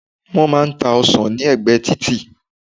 wón má n ta ọsàn ni ẹgbẹ titi